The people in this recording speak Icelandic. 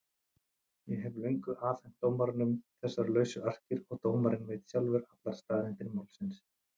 Ég hef löngu afhent dómaranum þessar lausu arkir og dómarinn veit sjálfur allar staðreyndir málsins.